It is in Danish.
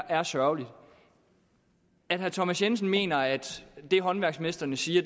er sørgeligt at herre thomas jensen mener at det håndværksmestrene siger